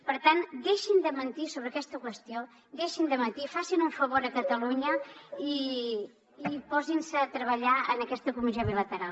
per tant deixin de mentir sobre aquesta qüestió deixin de mentir facin un favor a catalunya i posin se a treballar en aquesta comissió bilateral